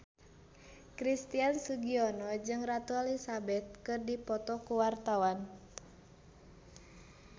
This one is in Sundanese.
Christian Sugiono jeung Ratu Elizabeth keur dipoto ku wartawan